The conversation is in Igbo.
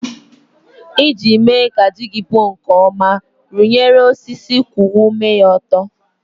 Iji mee ka ji gị puo nke ọma, rụnyere osisi kwụwa ome ya ọtọ.